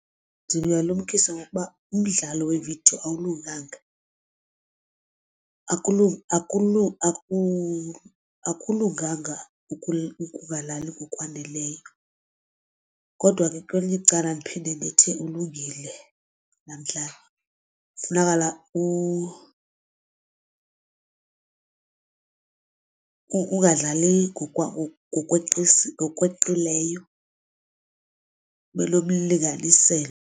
Ndingalumkisa ngokuba umdlalo wevidiyo awulunganga akulunganga ukungalali ngokwaneleyo, kodwa ke kwelinye icala ndiphinde ndithi ulungile laa mdlalo kufunekala ungadlali ngokweqileyo ube nomlinganiselo.